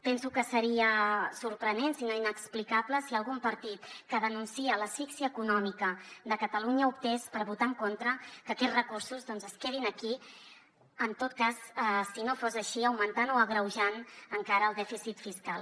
penso que seria sorprenent si no inexplicable si algun partit que denuncia l’asfíxia econòmica de catalunya optés per votar en contra que aquests recursos es quedin aquí en tot cas si no fos així augmentant o agreujant encara més el dèficit fiscal